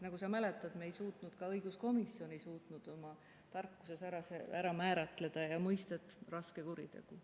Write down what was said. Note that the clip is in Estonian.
Nagu sa mäletad, siis ka õiguskomisjon ei suutnud oma tarkuses ära määratleda mõistet "raske kuritegu".